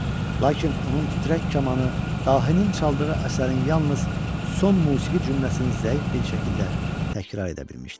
Lakin onun titrək kamanı dahinin çaldığı əsərin yalnız son musiqi cümləsini zəif bir şəkildə təkrar edə bilmişdi.